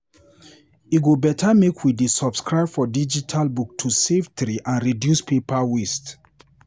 E go better make we dey subscribe for digital book to save tree and reduce paper waste.